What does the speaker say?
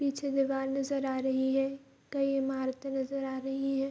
पीछे दीवाल नजर आ रही है कई इमारते नजर आ रही हैं।